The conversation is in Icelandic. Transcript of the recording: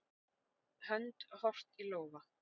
Hönd, horft í lófa.